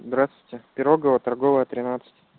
здравствуйте пирогова торговая тринадцать